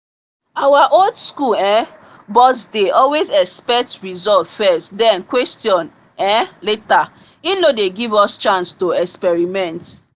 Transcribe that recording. our old school um boss dey always expect result first then question um later. he no dey give us chance to experiment